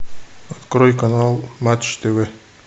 открой канал матч тв